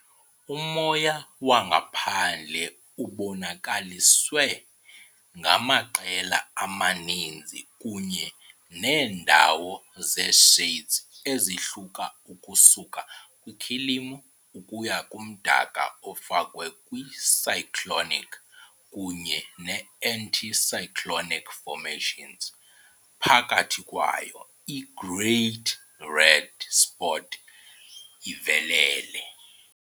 Umoya wangaphandle ubonakaliswe ngamaqela amaninzi kunye neendawo ze-shades ezihluka ukusuka kwikhilimu ukuya kumdaka, ofakwe kwi- cyclonic kunye ne-anticyclonic formations, phakathi kwayo i- Great Red Spot ivelele.